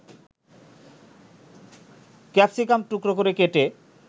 capsicum টুকরা করে কেটে